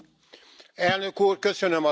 Elnök Úr, köszönöm a szót!